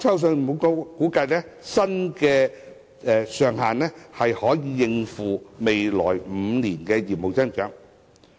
信保局估計，新上限能夠應付未來5年的業務增長。